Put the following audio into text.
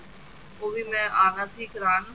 ਓਹ ਵੀ ਮੈਂ ਆਣਾ ਸੀ ਕਰਾਨ